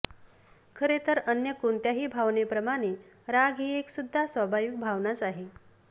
खरेतर अन्य कोणत्याही भावनेप्रमाणे राग ही सुद्धा एक स्वाभाविक भावनाच आहे